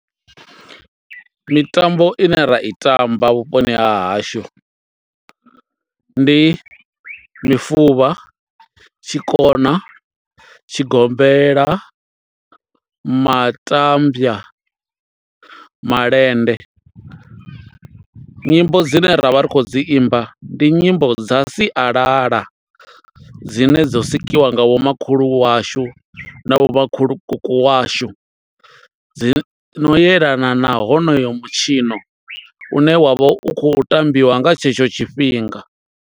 Mitambo ine ra i tamba vhuponi ha hashu, ndi mifuvha, tshikona, tshigombela, matambya, malende. Nyimbo dzine ra vha ri khou dzi imba, ndi nyimbo dza sialala, dzine dzo sikiwa nga vhomakhulu washu, na vho makhulukuku washu, dzi no yelana na honoyo mutshino une wa vha u khou tambiwa nga tshetsho tshifhinga.